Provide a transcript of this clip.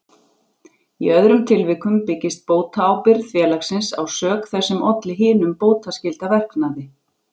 Í öðrum tilvikum byggist bótaábyrgð félagsins á sök þess sem olli hinum bótaskylda verknaði.